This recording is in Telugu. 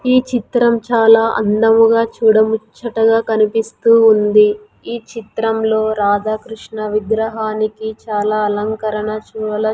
ఈ చిత్రం చాలా అందముగా చూడముచ్చటగా కనిపిస్తూ ఉంది ఈ చిత్రంలో రాధాకృష్ణ విగ్రహానికి చాలా అలంకరణ శువల --